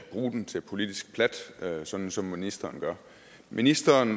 bruge den til politisk plat sådan som ministeren gør ministeren